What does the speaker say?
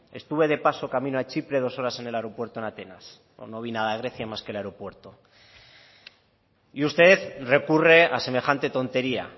estuve de paso camino a chipre dos horas en el aeropuerto en atenas no vi nada de grecia más que el aeropuerto y usted recurre a semejante tontería